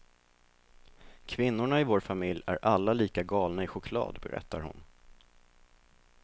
Kvinnorna i vår familj är alla lika galna i choklad, berättar hon.